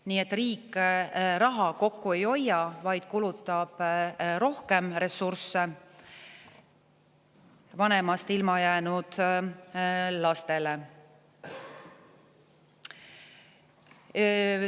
Nii et riik raha kokku ei hoia, vaid kulutab rohkem ressursse oma vanemast ilma jäänud lastele.